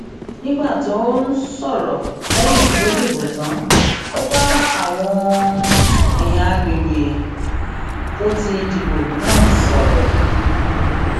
nígbà tó ń um sọrọ lẹyìn tó dìbò tán ó bá àwọn èèyàn àgbègbè um tó ti dìbò náà sọrọ